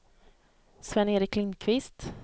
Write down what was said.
Sven-Erik Lindquist